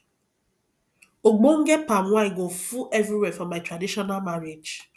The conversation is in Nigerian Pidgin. ogbonge palm wine go full everywhere for my traditional marriage